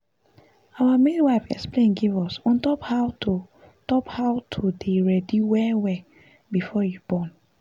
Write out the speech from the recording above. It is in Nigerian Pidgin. our midwife explain give us on top how to top how to dey ready well well before you born